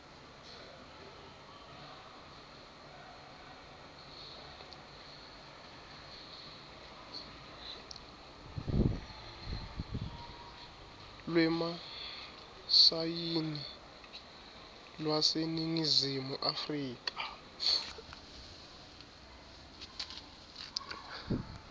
lwemasayini lwaseningizimu afrika